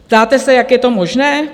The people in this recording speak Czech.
Ptáte se, jak je to možné?